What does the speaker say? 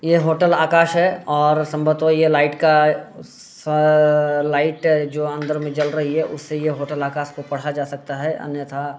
ये होटल आकाश है और संभवतः ये लाइट का स लाइट है जो अंदर में जल रही है उससे ये होटल आकाश को पढ़ा जा सकता है अन्यथा --